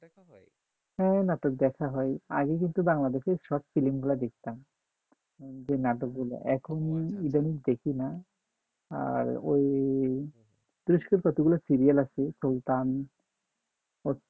ও নাটক দেখা হয় আগে কিন্তু বাংলাদেশের সব ফিল্ম গুলো দেখতাম যে নাটকগুলো এখন ইদানিং দেখি না আর ওই যতগুলো সিরিয়াল আছে